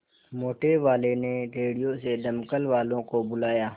मोटेवाले ने रेडियो से दमकल वालों को बुलाया